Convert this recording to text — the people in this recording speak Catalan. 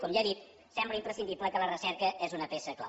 com ja he dit sembla imprescindible que la recerca és una peça clau